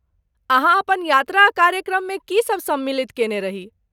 अहाँ अपन यात्रा कार्यक्रममे की सभ सम्मिलित कयने रही?